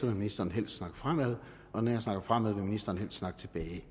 vil ministeren helst snakke fremad og når jeg snakker fremad vil ministeren helst snakke tilbage i